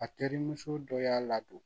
A terimuso dɔ y'a ladon